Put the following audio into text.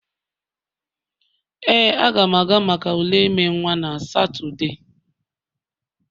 Ee, Aga m aga maka ule ime nwa na Satọde